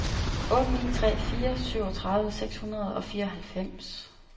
otte ni tre fire syvogtredive seks hundrede og fireoghalvfems